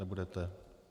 Nebudete.